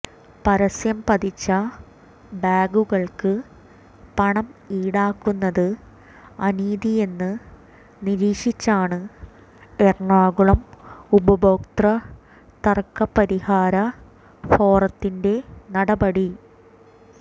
പരസ്യം പതിച്ച ബാഗുകൾക്ക് പണം ഇടാക്കുന്നത് അനീതിയെന്ന് നീരിക്ഷിച്ചാണ് എറണാകുളം ഉപഭോക്തൃ തർക്ക പരിഹാര ഫോറത്തിന്റെ നടപടി